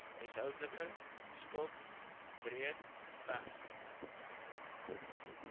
huishoudelike skuld breedweg